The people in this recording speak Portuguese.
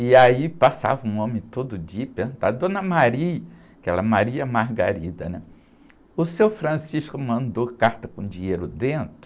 E aí passava um homem todo dia, perguntava, Dona, que ela é, né? O seu mandou carta com dinheiro dentro?